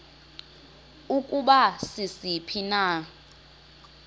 ukuba sisiphi na